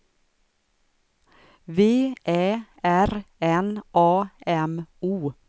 V Ä R N A M O